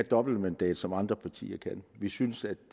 dobbeltmandat som andre partier kan vi synes at